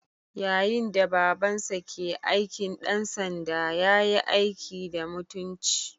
Yayin da Babansa ke aikin ɗansanda, ya yi aiki da mutunci.